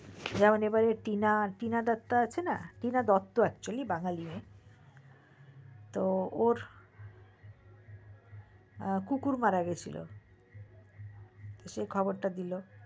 এবার হতে পারে টিনা দত্তা আছে না টিনা দত্ত actually বাঙালি মেয়ে তো ওর কুকুর মারা গিয়েছিলো সে খবরটা দিলো